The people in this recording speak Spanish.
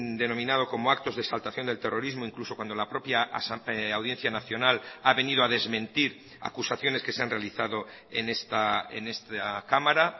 denominado como actos de exaltación del terrorismo incluso cuando la propia audiencia nacional ha venido a desmentir acusaciones que se han realizado en esta cámara